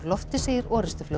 lofti segir